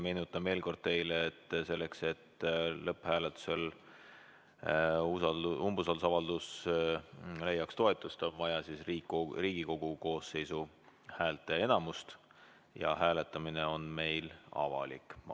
Meenutan veel kord teile, et selleks, et lõpphääletusel umbusaldusavaldus leiaks toetust, on vaja Riigikogu koosseisu häälteenamust ja hääletamine on meil avalik.